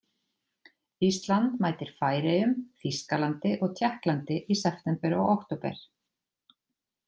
Ísland mætir Færeyjum, Þýskalandi og Tékklandi í september og október.